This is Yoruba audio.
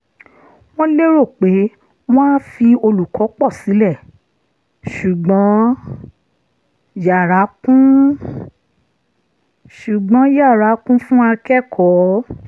wọ́n lérò pé wọn á fi olùkọ́ pọ̀ sílẹ̀ ṣùgbọ́n yara kún ṣùgbọ́n yara kún fún akẹ́kọ̀ọ́